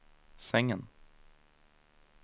sängen